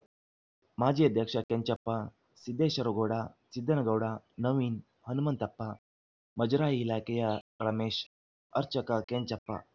ಮಾಜಿ ಅಧ್ಯಕ್ಷ ಕೆಂಚಪ್ಪ ಸಿದ್ದೇಶ್ವರಗೌಡ ಸಿದ್ದನಗೌಡ ನವೀನ್‌ ಹನುಮಂತಪ್ಪ ಮಜರಾಯಿ ಇಲಾಖೆಯ ರಮೇಶ್‌ ಅರ್ಚಕ ಕೆಂಚಪ್ಪ